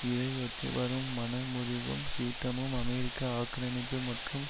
இதையொட்டி வரும் மனமுறிவும் சீற்றமும் அமெரிக்க ஆக்கிரமிப்பு மற்றும்